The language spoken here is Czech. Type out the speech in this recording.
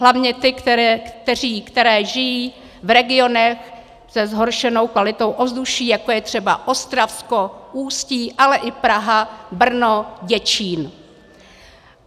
Hlavně ty, které žijí v regionech se zhoršenou kvalitou ovzduší, jako je třeba Ostravsko, Ústí, ale i Praha, Brno, Děčín.